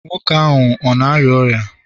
nwoke ahụ na-arịa ọrịa